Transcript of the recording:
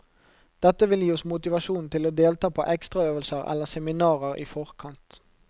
Dette vil gi oss motivasjon til å delta på ekstraøvelser eller seminarer i forkant.